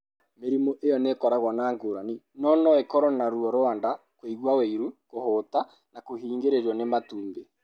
Mĩrimũ ĩyo nĩ ĩkoragwo na ngũrani, no no ĩkorũo na ruo rwa nda, kũigua ũiru, kũhũta, na kũhingĩrĩrũo nĩ matumbi.